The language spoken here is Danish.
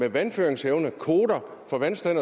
vandføringsevne kvoter for vandstand